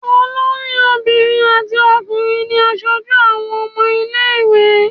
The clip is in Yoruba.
Olórí obìnrin àti ọkùnrin ni aṣojú àwọn ọmọ ilé-ìwé.